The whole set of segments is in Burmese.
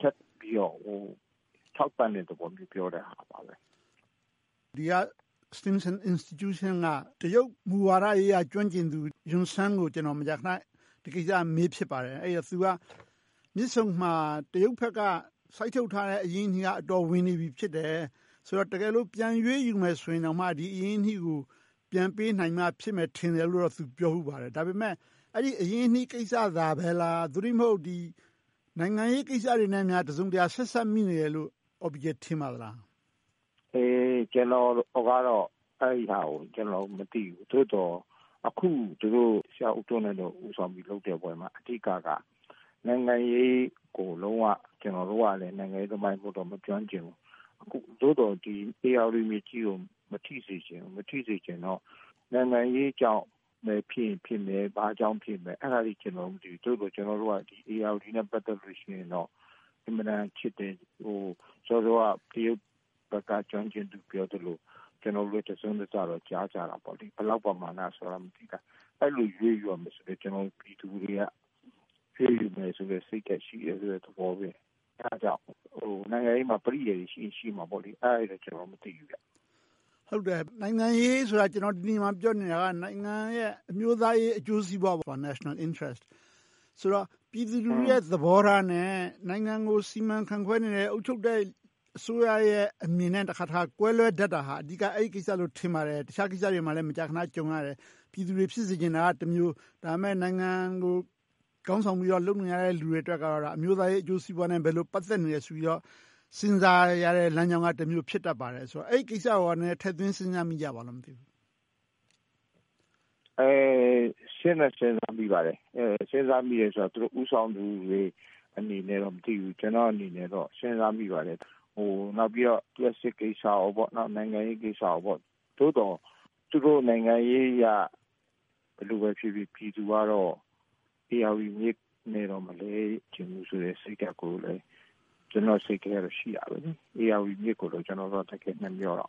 ထပ်ပြီးတော့ ထောက်ပံ့တဲ့သဘောမျိုး ပြောတာပါ။ ဒီမှာရှိတဲ့ Institution က တရုတ်မူဝါဒရေးရာ ကျွမ်းကျင်သူ ယွန်ဆန်ကို ကျနော် မကြာခဏ ဒီကိစ္စကို မေးဖြစ်ပါတယ်။ သူက မြစ်ဆုံမှာ တရုတ်ဘက်က စိုက်ထုတ်ထားတဲ့ အရင်းအနှီးက အတော်ဝင်နေပြီဖြစ်တယ်။ ဆိုတော့ တကယ်လို ပြန်ရွေးယူမယ်ဆိုရင်တော့ ဒီအရင်းအနှီးကို ပြန်ပေးနိုင်မှ ဖြစ်မယ်ထင်တယ်လို့ သူက ပြောဖူးပါတယ်။ ဒါပေမဲ့ အဲဒီအရင်းအနှီးကိစ္စပဲလား။ သို့တည်းမဟုတ် နိုင်ငံရေးကိစ္စတွေနဲ့များ တစုံတရာ ဆက်စပ်နေတယ်လို့ ကိုအောင်ပီကျယ် ထင်ပါသလား။ ကျနော်ကတော့ အဲဒီဟာကို မသိဘူး။ သို့သော် အခု ဆရာဦးထွန်းလွင်တို့ လုပ်တဲ့ပွဲမှာ အဓိကက နိုင်ငံရေးကို လုံးဝ - ကျနော်တို့ကလည်း နိုင်ငံရေးသမားမဟုတ်တော့ နိုင်ငံရေးမကျွမ်းကျင်ဘူး။ သို့သော် ဧရာဝတီမြစ်ကြီးကို မထိစေချင်ဘူး။ မထိစေချင်တော့ နိုင်ငံရေးကြောင့်ပဲ ဖြစ်ချင်ဖြစ်မယ်။ ဘာကြောင့်ဖြစ်မယ် အဲဒါတွေ ကျနော်တို့ မသိဘူး။ သို့သော် ကျနော်တို့က ဧရာဝတီမြစ်ကြီးနဲ့ ပတ်သက်လို့ရှိရင်တော့ အင်မတန်ချစ်တယ်။ စောစောက တရုတ်ဘက်က ကျွမ်းကျင်သူပြောသလို ကျနော်တို့လည်း တစွန်းတစတော့ ကြားကြပါတယ်။ ဘယ်လောက်ပမာဏတော့ မသိဘူး။ အဲဒီလို ရွေးပြီးတော့ လုပ်ရမယ်ဆိုလဲ ကျနော်တို့ပြည်သူတွေက ရွေးယူမယ်ဆိုတဲ့ စိတ်ဓါတ်ရှိတယ်ဆိုတဲ့ သဘောနဲ့ အဲဒါကြောင့် နိုင်ငံရေးမှာ ပရိယာရ်တွေ ရှိရင်ရှိမှာပေါ့ - အဲဒါတွေတော့ ကျနော်တို့ မသိဘူး။ နိုင်ငံရေးဆိုတာ ကျနော် ဒီနေရာမှာပြောနေတာက နိုင်ငံရဲ့ အမျိုးသားရေး အကျိုးစီးပွား - National Interest ဆိုတော့ ပြည်သူလူထုသဘောထားနဲ့ နိုင်ငံကို စီမံခန့်ခွဲနေတဲ့ အုပ်ချုပ်အစိုးရရဲ့ အမြင်နဲ့ တခါတရံ ကွဲလွဲတတ်တာဟာ အဓိက အဲဒီကိစ္စလို့ ထင်ပါတယ်။ တခြားကိစ္စတွေမှာလဲ မကြာခဏ ကြုံရတယ် ပြည်သူတွေ ဖြစ်စေချင်တာကတမျိုး၊ ဒါပေမဲ့ နိုင်ငံကို ခေါင်းဆောင်ပြီးတော့ လုပ်နေကြတဲ့လူတွေအတွက်ကတော့ အမျိုးသားရေးအကျိုးစီးပွားနဲ့ ဘယ်လိုပတ်သက်နေတယ်ဆိုတာကို စဉ်းစားကြတဲ့လမ်းကြောင်းကတမျိုး ဖြစ်တတ်ပါတတ်ပါတယ်။ အဲဒီကိစ္စကိုကော နည်းနည်းထင်သွင်း စဉ်းစားကြပါလား။ စဉ်းတော့စဉ်းစားမိပါတယ်။ စဉ်းစားမိတာကတော့ သူတို့ ဦးဆောင်သူတွေအနေနဲ့တော့ မသိဘူး။ ကျနော့်အနေနဲ့တော့ စဉ်းစားမိပါတယ်။ နောက်ပြီးတော့ လျှပ်စစ်ကိစ္စ၊ နိုင်ငံရေးကိစ္စ။ သို့သော် သူတို့နိုင်ငံရေးအရ ဘယ်လိုပဲဖြစ်ဖြစ် ပြည်သူကတော့ ဧရာဝတီမြစ်နဲ့တော့ မလဲချင်ဘူးဆိုတဲ့ စိတ်ဓါတ်ကိုလည်း ကျနော့်စိတ်ထဲ ရှိနေတယ်။ ဧရာဝတီမြစ်ကိုတော့ ကျနော်တို့က တကယ်နှမြောကြတယ်။ ဆရာ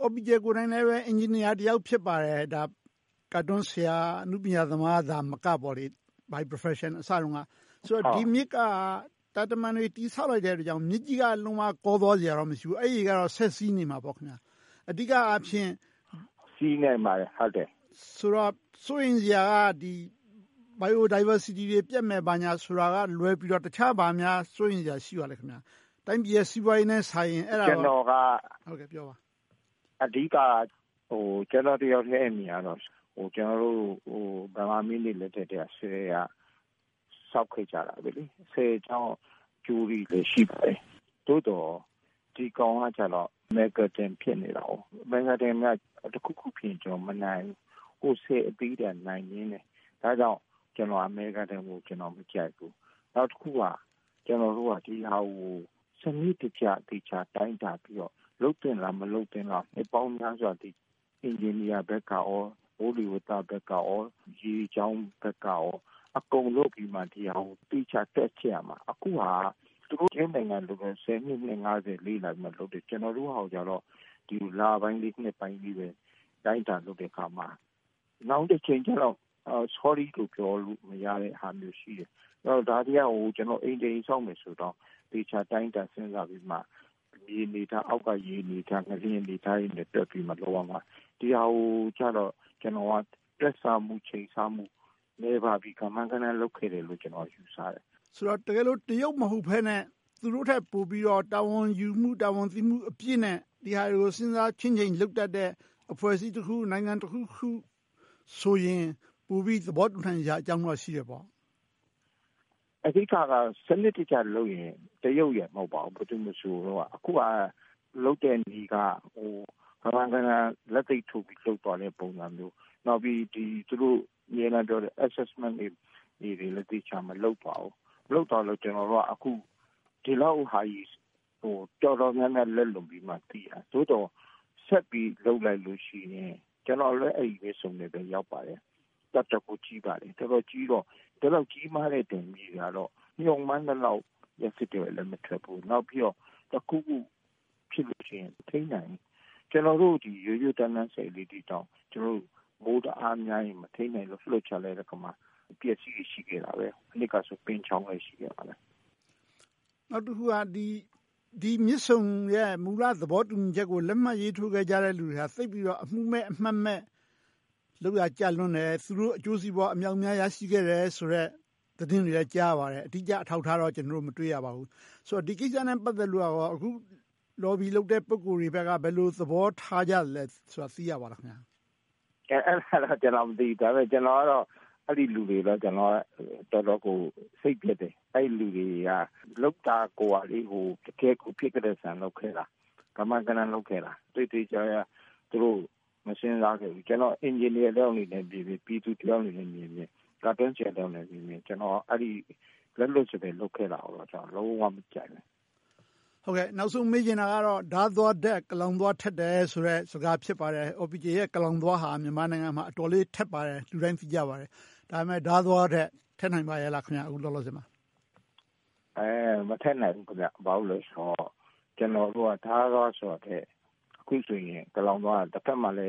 အော်ပီကျယ်တယောက်လည်း အင်ဂျင်နီယာတယောက် ဖြစ်ပါတယ်။ ကာတွန်းဆရာ အနုပညာသမားတယောက်သာမက.. ဆိုတော့ ဒီမြစ်က တာတမံတွေ တည်ဆောက်လိုက်တဲ့အတွက်ကြောင့် မြစ်ကြီးက လုံးဝကောသွားစရာတော့ မရှိဘူး။ အဲဒီရေကတော့ ဆက်စီးနေမှာပေါ့။ အဓိကအားဖြင့် စိုးရိမ်စရာက Biodiversity တွေ ပျက်မယ်ဆိုတာကလွဲပြီးတော့ တခြားဘာတွေများ စိုးရိမ်စရာ ရှိပါလဲ။ တိုင်းပြည်ရဲ့ စီးပွားရေးနဲ့စာရင် မြစ်ရေက ဆက်စီးနေမှာပါ။ အဓိက ကျနော့်တယောက်ထဲအမြင်ကတော့ ကျနော်တို့ ဗမာမင်းတွေလက်ထဲကတည်းက ဆည်တွေဆောက်ခဲ့ကြတာ။ ဆည်ကြောင့် အကျိုးတွေလည်း ရှိပါတယ်။ သို့သော် ဒီကောင်ကကြတော့ Mega Dam ဖြစ်နေတယ်။ Mega Dam က တခုခုဖြစ်ရင် မနိုင်ဘူး။ ဆည်အသေးတွေက နိုင်သေးတယ်။ ဒါကြောင့် Mega Dam ကို ကျနော် မကြိုက်ဘူး။ နောက်တခုက ကျနော်တို့က ဒီဟာကို စနစ်တကျ သေချာတိုင်းတာပြီးတော့ လုပ်သင့်လား၊ မလုပ်သင့်လား နှစ်ပေါင်းများစွာ အင်ဂျင်နီယာဘက်၊ မိုးလေဝသဘက်၊ ရေကြောင်းဘက်ကနေ အကုန်လုပ်ပြီးမှ ဒီဟာကို သေချာတွက်ချက်ရမှာ။ အခုဟာက သူတို့နိုင်ငံတွင်းကဟာကို ဆယ်နှစ်၊ နှစ်ငါးဆယ် လေ့လာပြီးမှုလုပ်တယ်။ ကျနော်တို့ဟာကိုတော့ ဒီလိုလပိုင်းလေး၊ နှစ်ပိုင်းလေးပဲ တိုင်းတာလုပ်ကြတဲ့အခါမှာ နောင်တချိန်ကြတော့ Sorry လို့ ပြောတာနဲ့ မရတဲ့ဟာမျိုးရှိတယ်။ ဆိုတော့ ဒါတွေက အိမ်တအိမ် ဆောက်မယ်ဆိုရင်တောင် သေချာတိုင်းတာ စဉ်းစားပြီးမှ မြေအနေအထား၊ အောက်က ရေအနေအထား၊ ငလျင်အနေအထားတွေနဲ့ တွက်ပြီးမှ လုပ်ရမှာ။ ဒီဟာကိုကြတော့ ကျနော်က တွက်ဆမှု၊ ချိန်းဆမှု နည်းပါးပြီး ကမန်းကတမ်း လုပ်ခဲ့တယ်လို့ ယူဆတယ်။ တကယ်လို့ တရုတ်မဟုတ်ဘဲနဲ့ သူတို့ထက်ပိုပြီးတော့ တာဝန်ယူမှု၊ တာဝန်သိမှုအပြည့်နဲ့ ဒီဟာတွေကို စဉ်းစားချင့်ချိန်းလုပ်တတ်တဲ့ အဖွဲ့အစည်းတခုခု၊ နိုင်ငံတခုခုဆိုရင် ပိုပြီးသဘောတူနိုင်စရာအကြောင်းတော့ ရှိတယ်ပေါ့။ အဓိကတော့ စနစ်တကျလုပ်ရင် တရုတ်ရယ် မဟုတ်ပါဘူး၊ ဘယ်သူမဆို လုပ်နိုင်ပါတယ်။ အခုက လုပ်တဲ့နည်းက ကမန်းကတမ်း လက်သိပ်ထိုးပြီး လုပ်သွားတဲ့သဘောမျိုး။ နောက်ပြီး သူတို့အမြဲတမ်းပြောတဲ့ Assessment တွေလည်း သေချာမလုပ်ပါဘူး။ လုပ်သွားလို့ ကျနော်တို့က ဒီလောက်ဟာကြီးကို တော်တော်များများ လက်လွန်ပြီးမှ သိရတယ်။ ဒီဟာကို ဆက်ပြီးလုပ်လိုက်လို့ရှိရင် ကျနော်လည်း အဲဒီမြစ်ဆုံနေရာကို ရောက်ပါတယ်။ တော်တော်ကိုကြီးပါတယ်။ တော်တော်ကိုကြီးတော့ ဒီလောက်ကြီးတဲ့ ဆည်ကြီးကတော့ မျှော်မှန်းသလောက်… မထွက်ဘူး။ နောက်ပြီးတော့ တခုခု ဖြစ်လို့ရှိရင် မထိန်းနိုင်ဘူး။ ကျနော်တို့ ရိုးရိုးတန်တန် ဆည်လေးတွေတောင် မိုးတအားများရင် မထိန်းနိုင်လို့ လွှတ်ချလိုက်တဲ့အခါမှာ အပျက်အစီးတွေ ရှိကြတယ်။ မနှစ်ကဆိုရင် ပိန်းချောင်းဆည် ရှိခဲ့ပါတယ်။ နောက်တခုက ဒီမြစ်ဆုံရဲ့ မူလသဘောတူညီချက်ကို လက်မှတ်ရေးထိုးခဲ့ကြတဲ့ လူတွေက သိပ်ပြီးတော့ အမူမဲ့အမှတ်မဲ့ လုပ်ရာကြလွန်းတယ်။ သူတို့အကျိုးစီးပွား အမြောက်အများ ရရှိခဲ့ကြတယ်ဆိုတဲ့ သတင်းတွေလည်း ကြားရပါတယ်။ အဓိကအထောက်အထားတော့ ကျနော်တို့ မတွေ့ရပါဘူး။ ဆိုတော့ ဒီကိစ္စနဲ့ ပတ်သက်လို့ကော အဓိက Lobby လုပ်တဲ့ ပုဂ္ဂိုလ်တွေဘက်က ဘယ်လိုသဘောထားကြလဲဆိုတာ သိရပါသလား။ အဲဒီဟာလဲ ကျနော် မသိဘူး။ ကျနော်ကတော့ အဲဒီလူတွေကိုတော့ တော်တော်လေး စိတ်ပျက်တယ်။ အဲဒီလူတွေက လုပ်တာကိုက တကယ့်ကို ဖြစ်ကလဲဆန် လုပ်ခဲ့တာ။ ကမန်းကတမ်း လုပ်ခဲ့တာ။ သူတို့ မစဉ်းစားခဲ့ဘူး။ ကျနော် အင်ဂျင်နီယာတယောက်အနေနဲ့ မြင်တယ်။ ပြည်သူတယောက်အနေနဲ့ မြင်တယ်။ ကာတွန်းဆရာတယောက်အနေနဲ့ မြင်တယ်။ အဲဒီလို လက်လွှတ်စပယ် လုပ်ခဲ့တာကိုတော့ လုံးဝမကြိုက်ဘူး။ နောက်ဆုံးမေးချင်တာကတော့ ဒါးသွားထက် ကလောင်သွားထက်တယ်ဆိုတဲ့ စကား ဖြစ်ပါတယ်။ အော်ပီကျယ်ရဲ့ ကလောင်သွားဟာ မြန်မာပြည်မှာ အတော်လေးထက်ပါတယ်။ လူတိုင်း သိကြပါတယ်။ ဒါပေမဲ့ ဒါးသွားထက် ထက်နိုင်ပါရဲ့လား အခုလောလောဆယ်မှာ။ မထက်နိုင်ဘူး။ ဘာဖြစ်လို့လဲဆိုတော့ ကျနော်တို့က ဒါးသွားဆိုတာထက် အခုဆိုရင် ကလောင်သွားက တဘက်မှာလဲ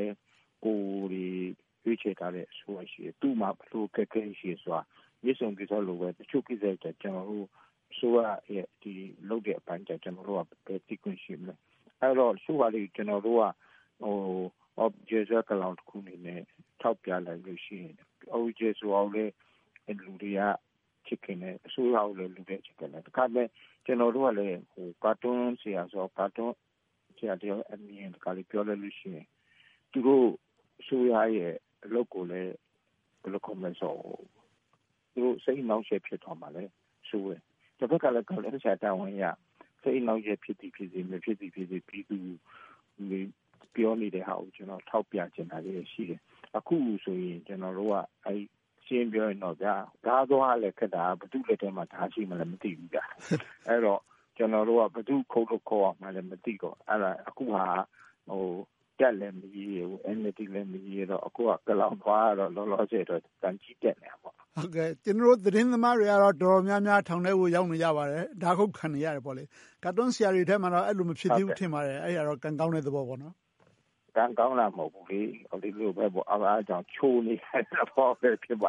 ကိုယ်ရွေးချယ်ထားတဲ့ အစိုးရရှိတယ်။ သူ့မှာ ဘယ်လိုအခက်အခဲတွေ ရှိတယ်ဆိုတာ မြစ်ဆုံကိစ္စလိုပဲ တချို့ကိစ္စတွေက အစိုးရရဲ့ လုပ်တဲ့အပိုင်းတွေကို ကျနော်တို့က ဘယ်သိခွင့်ရှိမလဲ။ အဲဒီတော့ အခုက ကျနော်တို့က အော်ပီကျယ်ကလောင်တခုအနေနဲ့ ထောက်ပြလိုက်ရင် အော်ပီကျယ်ကိုလည်း လူတွေက ချစ်ခင်တယ်။ အစိုးရကိုလည်း ချစ်ခင်တယ်။ တခါတရံ ကျနော်တို့က ကာတွန်းဆရာဆိုတော့ ကာတွန်းဆရာတယောက်ရဲ့ အမြင်ကိုပြောလိုက်လို့ရှိရင် သူတို့အစိုးရရဲ့ အလုပ်ကိုလည်း စိတ်အနှောင့်အယှက် ဖြစ်သွားမှာကိုလဲ စိုးရိမ်တယ်။ တဘက်ကလဲ ကာတွန်းဆရာတာဝန်အရ စိတ်အနှောင့်အယှက် ဖြစ်သည်ဖြစ်စေ၊ မဖြစ်သည်ဖြစ်စေ ပြည်သူတွေ ပြောနေတာဟာကို ကျနော် ထောက်ပြချင်တာတွေရှိတယ်။ အခုဆိုရင် ကျနော်တို့က ရှင်းရှင်းပြောရရင် ဒါးသွားကလဲ ဘယ်သူလက်ထဲမှာ ဒါးရှိမှန်းလဲ မသိဘူး။ အဲဒီတော့ ကျနော်တို့က ဘယ်သူကို ခုတ်လို့ခုတ်ရမှန်းလဲ မသိဘူး။ အခုဟာက တပ်လဲမရည်ရွယ်ဘူး။ NLD လည်း မရည်ရွယ်တော့ ကလောင်သွားကတော့ လောလောဆယ်မှာတော့ သံချေးတက်နေတာပေါ့။ ကျနော်တို့ သတင်းသမားတွေကတော့ တော်တော်များများ ထောင်ထဲကို ရောက်နေကြပါတယ်။ ဒါးခုတ်ခံနေရတယ်။ ကာတွန်းဆရာတွေထဲမှာတော့ အဲဒီလို မဖြစ်သေးဘူးလို့ ထင်ပါတယ်။ အဲဒါတော့ ကံကောင်းတဲ့သဘောပေါ့။ ကံကောင်းတာ မဟုတ်ဘူး။ ဒီလိုပဲ လျှိုနေတဲ့သဘော ဖြစ်ပါ